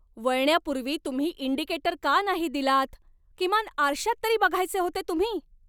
वळण्यापूर्वी तुम्ही इंडिकेटर का नाही दिलात? किमान आरशात तरी बघायचे होते तुम्ही.